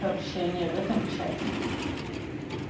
общение в этом чате